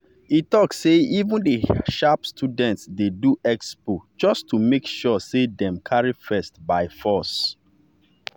e talk say even the sharp students dey do expo just to make sure say dem carry first by force.